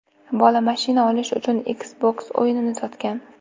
Bola mashina olish uchun Xbox o‘yinini sotgan.